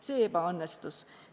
See ebaõnnestus.